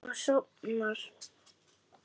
Hún sofnar.